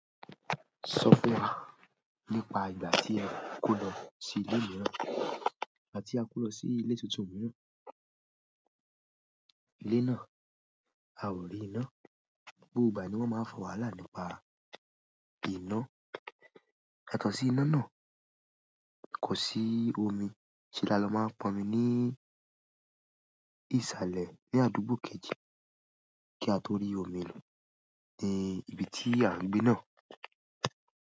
Sọ fún wa nípa ìgbà tí ẹ ko lọ sí ilé mìíràn, ìgbà tí a ko lọ sí ilé tuntun mìíràn. Ilé náà, a ò rí iná. Bóòbà ni wọ́n máa ń fa waala nípa iná. Ẹ̀kàn sí iná náà kò sí omi. Ṣé là ló máa pọn mi ní ìsàlẹ̀ ní àdúgbò kejì kí a tó rí omi lo ní ibi tí à ń gbé náà?